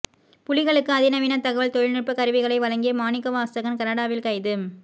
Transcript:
புலிகளுக்கு அதிநவீன தகவல் தொழில்நுட்ப கருவிகளை வழங்கிய மாணிக்கவாசகன் கனடாவில் கைது